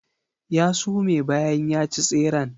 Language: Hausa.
Ya sume bayan ya ci tseren.